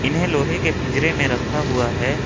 इन्हें लोहे के पिंजरे में रखा हुआ है।